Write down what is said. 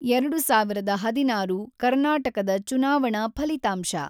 ೨೦೧೬ ಕರ್ನಾಟಕದ ಚುನಾವಣಾ ಫಲಿತಾಂಶ.